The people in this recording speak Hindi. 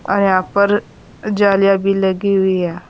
और यहां पर जालियां भी लगी हुई है।